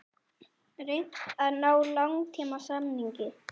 Reynt að ná langtímasamningi